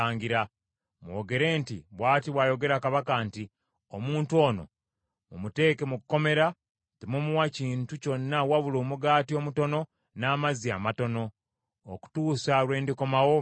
mwogere nti, ‘Bw’ati bw’ayogera kabaka nti, Omuntu ono mumuteeke mu kkomera, temumuwa kintu kyonna wabula omugaati omutono n’amazzi amatono, okutuusa lwe ndikomawo mirembe.’ ”